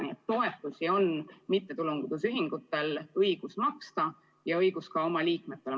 Nii et toetusi on mittetulundusühingutel õigus maksta, ka oma liikmetele.